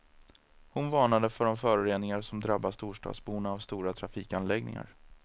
Hon varnade för de föroreningar som drabbar storstadsborna av stora trafikanläggningar.